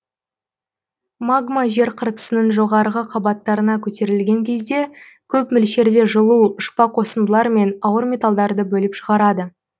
магма жер қыртысының жоғарғы қабаттарына көтерілген кезде көп мөлшерде жылу ұшпа қосындылар мен ауыр металдарды бөліп шығарады